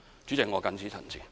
主席，我謹此陳辭。